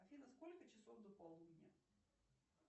афина сколько часов до полудня